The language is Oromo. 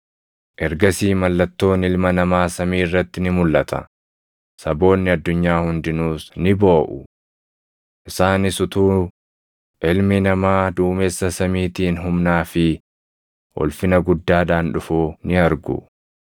“Ergasii mallattoon Ilma Namaa samii irratti ni mulʼata; saboonni addunyaa hundinuus ni booʼu. Isaanis utuu Ilmi Namaa duumessa samiitiin humnaa fi ulfina guddaadhaan dhufuu ni argu.